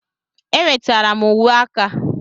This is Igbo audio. Enwetara m uwe aka.